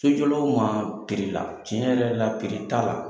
Sojɔlaw ma piri la, tiɲɛ yɛrɛ la piri t'a la